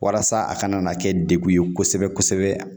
Walasa a kana na kɛ degun ye kosɛbɛ-kosɛbɛ